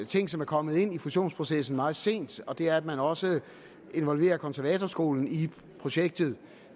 ting som er kommet ind i fusionsprocessen meget sent og det er at man også involverer konservatorskolen i projektet